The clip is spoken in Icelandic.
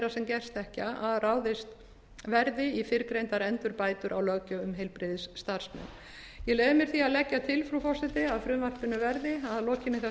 gerst þekkja að ráðist verði í fyrrgreindar endurbætur á löggjöf um heilbrigðisstarfsmenn ég leyfi mér því að leggja til frú forseti að frumvarpinu verði að lokinni